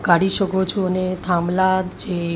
કાઢી શકો છો અને થાંભલા જે--